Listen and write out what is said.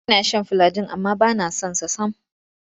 Ina shan filagil amma ba na son sa sam.